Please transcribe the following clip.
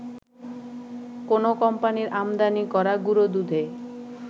কোনো কোম্পানির আমদানি করা গুঁড়োদুধে